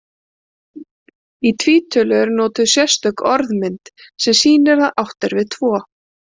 Í tvítölu er notuð sérstök orðmynd, sem sýnir að átt er við tvo.